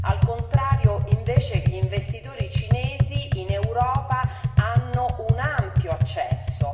al contrario, invece, gli investitori cinesi in Europa hanno un ampio accesso.